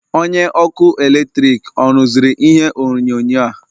Onye ọkụ eletrik ọ rụziri ihe onyonyo a?